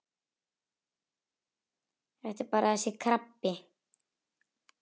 Þetta er bara þessi krabbi.